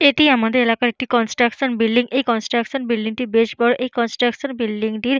এটি আমাদের এলাকার একটি কনস্ট্রাকশন বিল্ডিং । এই কন্সট্রাকশন বিল্ডিংটি বেশ বড়। এই কনস্ট্রাকশন বিল্ডিংটির--